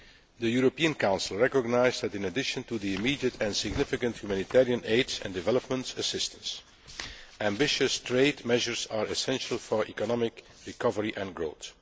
The European Council recognised that, in addition to the immediate and significant humanitarian aid and development assistance, ambitious trade measures are essential for economic recovery and growth.